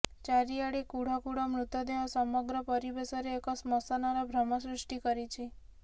ଚାରଆଡେ କୁଢ଼ କୁଢ଼ ମୃତଦେହ ସମଗ୍ର ପରିବେଶରେ ଏକ ଶ୍ମଶାନର ଭ୍ରମ ସୃଷ୍ଟି କରିଛି